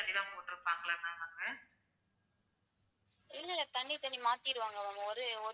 தண்ணி தண்ணி மாத்திடுவாங்க. ஒரு,